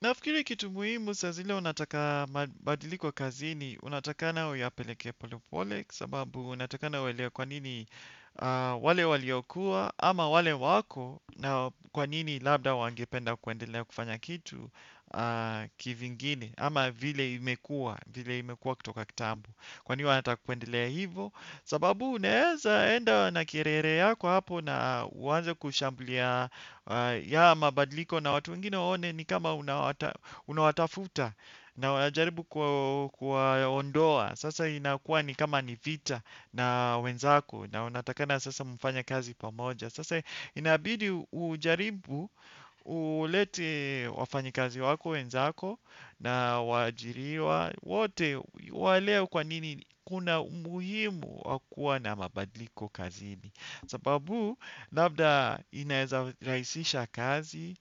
Nafikiri kitu muhimu saa zile unataka mabadiliko kazini, unatakana uyapeleke polepole kwa sababu unatakana uelewe kwa nini wale waliokuwa ama wale wako na kwa nini labda wangependa kuendelea kufanya kitu kivingine ama vile imekuwa, vile imekuwa kutoka kitambo. Kwani wanata kuendelea hivyo, sababu unaweza enda na kiherehere yako hapo na uanze kushambulia mabadliko na watu wengine waone ni kama unawatafuta na unajaribu kuwaondoa. Sasa inakuwa ni kama ni vita na wenzako na unatakikana sasa mfanye kazi pamoja. Sasa inabidi ujaribu, ulete wafanyikazi wako, wenzako, na waajiriwa wote waelewe kwa nini kuna umuhimu wa kuwa na mabadiliko kazini. Sababu labda inaweza rahisisha kazi,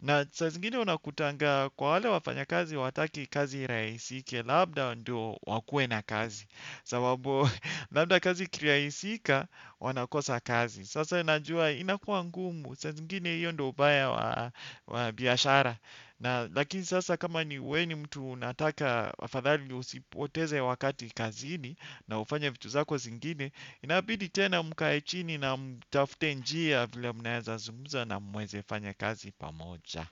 na saa zingine unakutanga kwa wale wafanyakazi hawataki kazi irahisike, labda ndio wakue na kazi. Sababu labda kazi ikirahisika wanakosa kazi. Sasa unajua inakuwa ngumu saa zingine hiyo ndio ubaya wa biashara na lakini sasa kama ni wewe ni mtu unataka afadhali usipoteze wakati kazini na ufanye vitu zako zingine inabidi tena mkae chini na mtafute njia vile mnaweza zungumza na muweze fanya kazi pamoja.